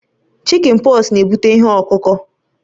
Chikin pọks na-ebute ihe ọkụ ọkụ